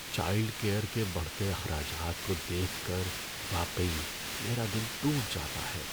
Child care کے بڑھتے اخراجات کو دیکھ کر واقعی میرا دل ٹوٹ جاتا ہے۔